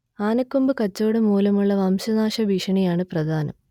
ആനക്കൊമ്പ് കച്ചവടം മൂലമുള്ള വംശനാശ ഭീഷണിയാണ് പ്രധാനം